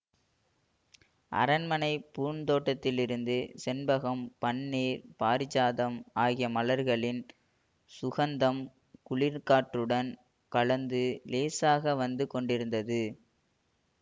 அரண்மனைப் பூந்தோட்டத்திலிருந்து செண்பகம் பன்னீர் பாரிஜாதம் ஆகிய மலர்களின் சுகந்தம் குளிர்காற்றுடன் கலந்து இலேசாக வந்து கொண்டிருந்தது